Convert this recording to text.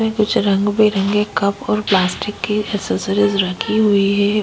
कुछ रंग-बिरंगे कप और प्लास्टिक की एसेसरीज रखी हुई है।